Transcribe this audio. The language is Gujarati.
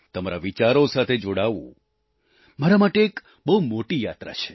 તમારા વિચારો સાથે જોડાવું મારા માટે એક બહુ મોટી યાત્રા છે